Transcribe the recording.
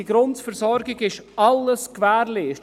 Die Grundversorgung ist somit gewährleistet.